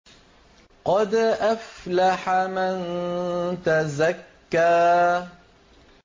قَدْ أَفْلَحَ مَن تَزَكَّىٰ